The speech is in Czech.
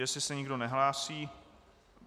Jestli se nikdo nehlásí...